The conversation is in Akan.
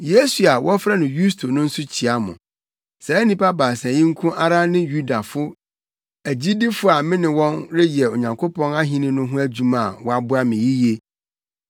Yesu a wɔfrɛ no Yusto no nso kyia mo. Saa nnipa baasa yi nko ara ne Yudafo agyidifo a me ne wɔn reyɛ Onyankopɔn Ahenni no ho adwuma a wɔaboa me yiye.